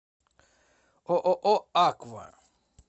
ооо аква